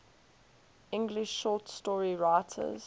english short story writers